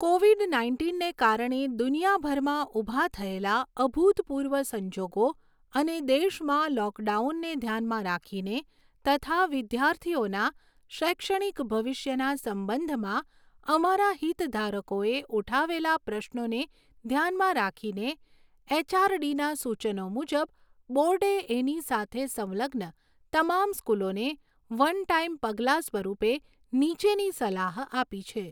Covid નાઇન્ટીનને કારણે દુનિયાભરમાં ઊભા થયેલા અભૂતપૂર્વ સંજોગો અને દેશમાં લૉકડાઉનને ધ્યાનમાં રાખીને તથા વિદ્યાર્થીઓના શૈક્ષણિક ભવિષ્યના સંબંધમાં અમારા હિતધારકોએ ઊઠાવેલા પ્રશ્રોને ધ્યાનમાં રાખીને એચઆરડીના સૂચનો મુજબ, બોર્ડે એની સાથે સંલગ્ન તમામ સ્કૂલોને વન ટાઇમ પગલાં સ્વરૂપે નીચેની સલાહ આપી છે.